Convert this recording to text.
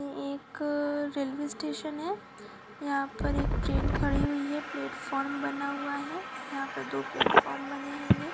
एकरेलवे station है यहां पर एक ट्रेन खड़ी हुई है प्लेटफार्म बना हुआ है यहां पर दो प्लेटफार्म बनेंगी हैगे